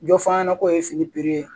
Jɔ f'a ɲɛna ko ye fini ye